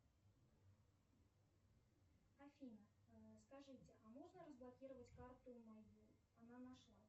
афина скажите а можно разблокировать карту мою она нашлась